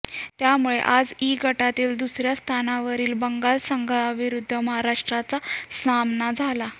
त्यामुळे आज इ गटातील दुसऱ्या स्थानावरील बंगाल संघाविरुद्ध महाराष्ट्राचा सामना झाला